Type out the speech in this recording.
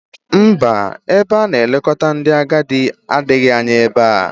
Mba, ebe a na-elekọta ndị agadi adịghị anya ebe a